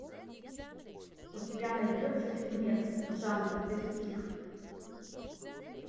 у тебя найдется фильмец жанр детектив